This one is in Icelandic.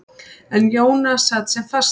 En Jóna sat sem fastast.